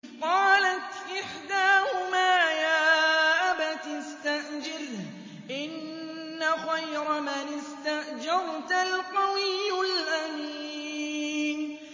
قَالَتْ إِحْدَاهُمَا يَا أَبَتِ اسْتَأْجِرْهُ ۖ إِنَّ خَيْرَ مَنِ اسْتَأْجَرْتَ الْقَوِيُّ الْأَمِينُ